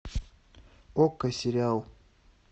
окко сериал